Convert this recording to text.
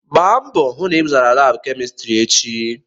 Gbaa mbọ hụ na ị zara laabụ kemịstrị echi!